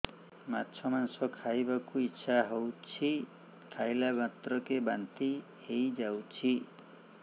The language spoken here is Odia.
ମାଛ ମାଂସ ଖାଇ ବାକୁ ଇଚ୍ଛା ହଉଛି ଖାଇଲା ମାତ୍ରକେ ବାନ୍ତି ହେଇଯାଉଛି